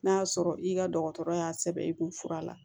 N'a y'a sɔrɔ i ka dɔgɔtɔrɔ y'a sɛbɛn i kun fura la